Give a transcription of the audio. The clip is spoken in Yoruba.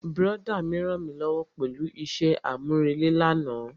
Brọ̀dá mi rànmílówó pẹ̀lú isẹ́ àmúrelé mi lánàá.